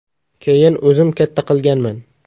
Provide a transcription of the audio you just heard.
Keyin o‘zim katta qilganman.